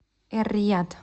эр рияд